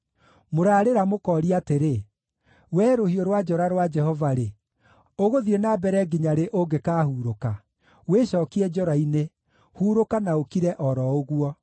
“Mũrarĩra mũkooria atĩrĩ, ‘Wee, rũhiũ rwa njora rwa Jehova-rĩ, ũgũthiĩ na mbere nginya rĩ ũngĩkaahurũka? Wĩcookie njora-inĩ; hurũka na ũkire o ro ũguo.’